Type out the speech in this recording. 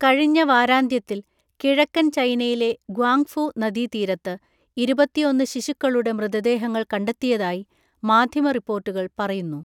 കഴിഞ്ഞ വാരാന്ത്യത്തിൽ കിഴക്കൻ ചൈനയിലെ ഗ്വാങ്ഫു നദി തീരത്ത് ഇരുപത്തിഒന്ന് ശിശുക്കളുടെ മൃതദേഹങ്ങൾ കണ്ടെത്തിയതായി മാധ്യമ റിപ്പോർട്ടുകൾ പറയുന്നു.